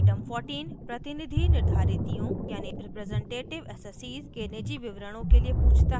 item 14 प्रतिनिधि निर्धारितियों representative assessees के निजी विवरणों के लिए पूछता है